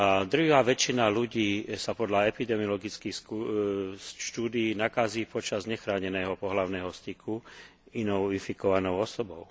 Drvivá väčšina ľudí sa podľa epidemiologických štúdií nakazí počas nechráneného pohlavného styku inou infikovanou osobou.